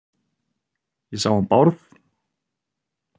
Ég sá hann Bárð.